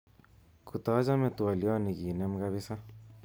Kotachome twoliot ni kenem kabisa